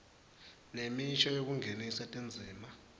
nemisho yekungenisa tindzima